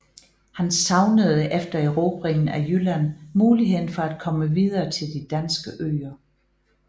Han savnede efter erobringen af Jylland muligheden for at komme videre til de danske øer